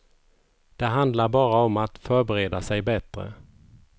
Det handlar bara om att förbereda sig bättre.